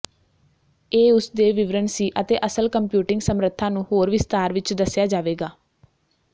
ਇਹ ਉਸ ਦੇ ਵਿਵਰਣ ਸੀ ਅਤੇ ਅਸਲ ਕੰਪਿਊਟਿੰਗ ਸਮਰੱਥਾ ਨੂੰ ਹੋਰ ਵਿਸਥਾਰ ਵਿੱਚ ਦੱਸਿਆ ਜਾਵੇਗਾ